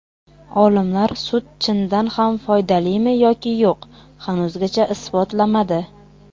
Olimlar sut chindan ham foydalimi yoki yo‘q, hanuzgacha isbotlamadi.